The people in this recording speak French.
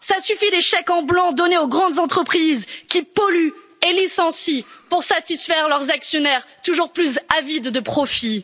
Ça suffit, les chèques en blanc donnés aux grandes entreprises qui polluent et licencient pour satisfaire leurs actionnaires toujours plus avides de profits.